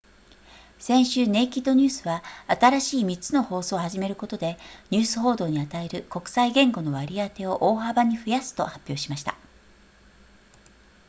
先週ネイキッドニュースは新しい3つの放送を始めることでニュース報道に与える国際言語の割り当てを大幅に増やすと発表しました